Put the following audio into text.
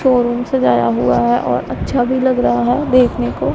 Showroom सजाया हुआ है और अच्छा भी लग रहा है देखने को।